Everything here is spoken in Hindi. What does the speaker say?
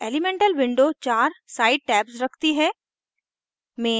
elemental window चार side tabs रखती है